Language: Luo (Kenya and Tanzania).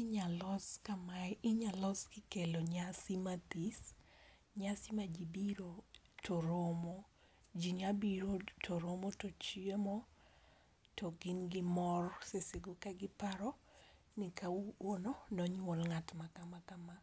Inyalos kamae, inyalos kikelo nyasi mathis. Nyasi ma jii biro to romo, jii nya biro to romo to chiemo to gin gi mor, seche go kagiparo ni kawuono nonyuol ng'at ma kama kama